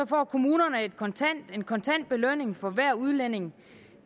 får kommunerne en kontant belønning for hver udlænding